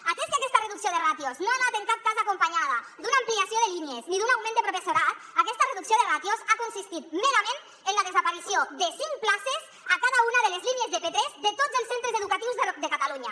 atès que aquesta reducció de ràtios no ha anat en cap cas acompanyada d’una ampliació de línies ni d’un augment de professorat aquesta reducció de ràtios ha consistit merament en la desaparició de cinc places a cada una de les línies de p3 de tots els centres educatius de catalunya